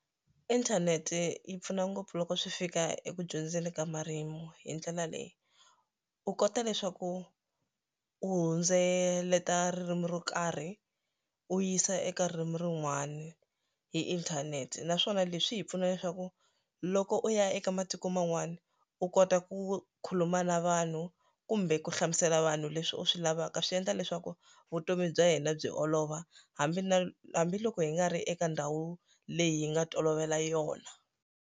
Inthanete yi pfuna ngopfu loko swi fika eku dyondzeni ka marimi hi ndlela leyi u kota leswaku u hundzeleta ririmi ro karhi u yisa eka ririmi rin'wani hi inthanete naswona leswi hi pfuna leswaku loko u ya eka matiko man'wana u kota ku khuluma na vanhu kumbe ku hlamusela vanhu leswi u swi lavaka swi endla leswaku vutomi bya hina byi olova hambi na hambiloko hi nga ri eka ndhawu leyi hi nga tolovela yona.